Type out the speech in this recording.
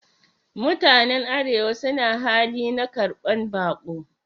Mutanen arewa suna hali na karban bako